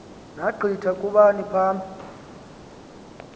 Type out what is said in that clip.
naggitha kubani phambi